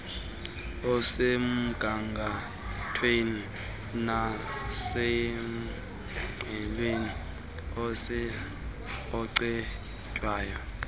osemgangathweni nosengqiqweni ocetywayo